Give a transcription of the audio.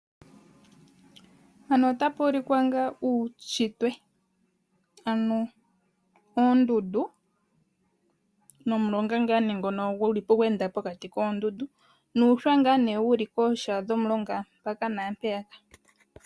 Mpano otapuulikwa ngaa uushitwe, ano oondundu nomulonga ngaa ne ngono gweenda pokati koondundu nuushwa wuli pooha dhomulonga mpaka naapeya.